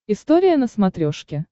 история на смотрешке